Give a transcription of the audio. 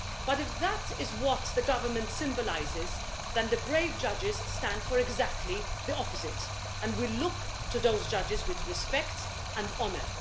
But, if that is what the Government symbolises, then the brave judges stand for exactly the opposite and we look to those judges with respect and honour.